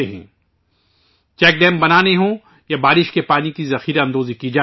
اگر check dam بنانے ہوں تو بارش کے پانی کی ہار ویسٹنگ ہونی چاہیئے